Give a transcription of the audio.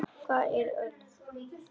Hvar er ölið?